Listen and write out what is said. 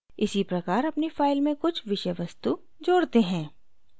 इसीप्रकार अपनी file में कुछ विषय वस्तु कंटेंट जोड़ते हैं